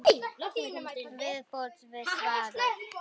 Viðbót við svarið